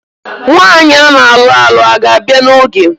Nwaanyi ana alụ alụ a ga-abịa na oge?